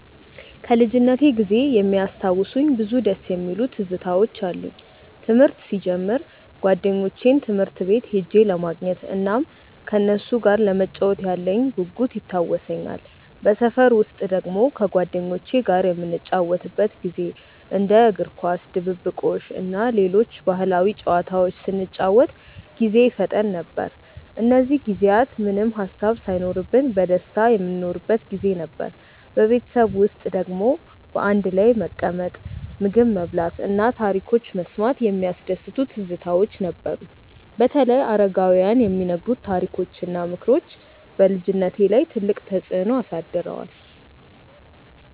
ከልጅነቴ ጊዜ የሚያስታውሱኝ ብዙ ደስ የሚሉ ትዝታዎች አሉኝ። ትምህርት ሲጀምር ጓደኞቼን ትምህርት ቤት ሄጄ ለማግኘት እናም ከነሱ ጋር ለመጫወት ያለኝ ጉጉት ይታወሰኛል። በሰፈር ውስጥ ደግሞ ከጓደኞቼ ጋር የምንጫወትበት ጊዜ እንደ እግር ኳስ፣ ድብብቆሽ እና ሌሎች ባህላዊ ጨዋታዎች ስንጫወት ጊዜ ይፈጠን ነበር። እነዚህ ጊዜያት ምንም ሃሳብ ሳይኖርብን በደስታ የምንኖርበት ጊዜ ነበር። በቤተሰብ ውስጥ ደግሞ በአንድ ላይ መቀመጥ፣ ምግብ መብላት እና ታሪኮች መስማት የሚያስደስቱ ትዝታዎች ነበሩ። በተለይ አረጋውያን የሚነግሩት ታሪኮች እና ምክሮች በልጅነቴ ላይ ትልቅ ተፅዕኖ አሳድረዋል።